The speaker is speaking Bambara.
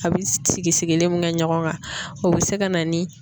A bɛ sigi sigilen min kɛ ɲɔgɔn kan o bɛ se ka na ni